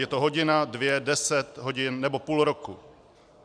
Je to hodina, dvě, deset hodin nebo půl roku?